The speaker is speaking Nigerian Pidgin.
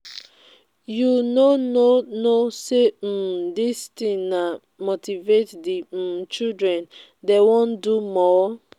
you no know know say um dis thing now motivate um the um children dey wan do more.